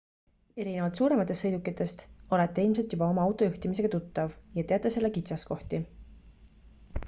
erinevalt suurematest sõidukitest olete ilmselt juba oma auto juhtimisega tuttav ja teate selle kitsaskohti